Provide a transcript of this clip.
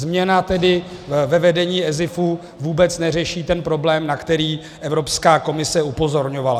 Změna tedy ve vedení ESIF vůbec neřeší ten problém, na který Evropská komise upozorňovala.